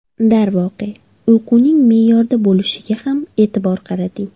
Darvoqe, uyquning me’yorda bo‘lishiga ham e’tibor qarating.